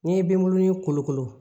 N'i ye benbunin kolokolo